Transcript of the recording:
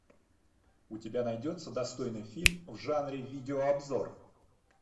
у тебя найдется достойный фильм в жанре видеообзор